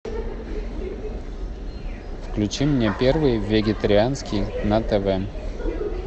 включи мне первый вегетарианский на тв